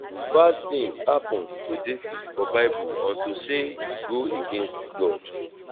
bad things happen to david for bible unto say he go against god